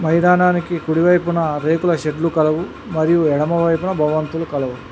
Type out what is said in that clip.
మైదానానికి కుడి వైపున రేకుల షెడ్లు కలవు మరియు ఎడమ వైపున భవంతులు కలవు.